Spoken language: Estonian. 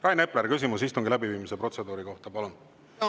Rain Epler, küsimus istungi läbiviimise protseduuri kohta, palun!